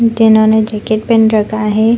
जिन्होंने jacket pen रखा है।